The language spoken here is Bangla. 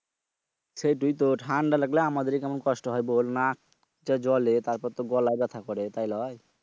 সেইটাই তো ঠান্ডা লাগলে আমাদেরই কেমন কষ্ট হয় বল? নাক তো জ্বলে তারপর গলায় ব্যাথ্যা করে তাইলয় বল?